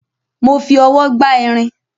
Mo fi ọwọ́ gbá irin